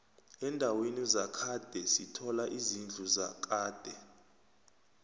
endaweni zakhade sithola izidlu zakade